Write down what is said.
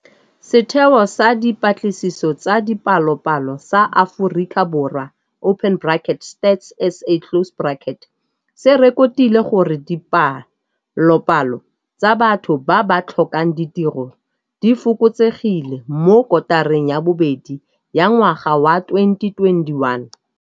Setheo sa Dipatlisiso tsa Dipalopalo sa Aforika Borwa, StatsSA, se rekotile gore dipa lopalo tsa batho ba ba tlhokang ditiro di fokotsegile mo kotareng ya bobedi ya ngwaga wa 2021.